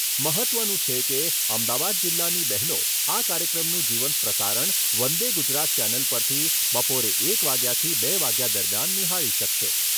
મહત્ત્વનું છે કે, અમદાવાદ જીલ્લાની બહેનો આ કાર્યક્રમનું જીવંત પ્રસારણ વંદે ગુજરાત ચેનલ પરથી બપોરે એક વાગ્યાથી બે વાગ્યા દરમિયાન નિહાળી શકશે.